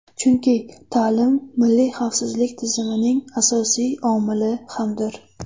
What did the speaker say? Chunki ta’lim milliy xavfsizlik tizimining asosiy omili hamdir.